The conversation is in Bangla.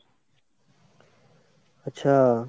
আচ্ছা।